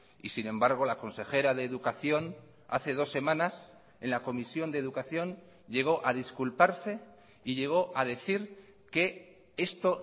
y sin embargo la consejera de educación hace dos semanas en la comisión de educación llegó a disculparse y llegó a decir que esto